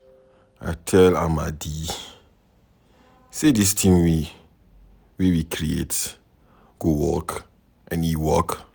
I tell Amadi say dis thing wey we create go work and e work.